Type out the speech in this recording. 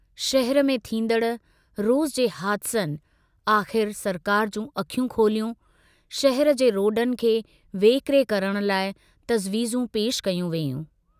शहर में थींदड़ रोज़ जे हादिसनि आख़िर सरकार जूं अखियूं खोलियूं शहर जे रोडनि खे वेकिरे करण लाइ तज़वीज़ू पेश कयूं वेयूं।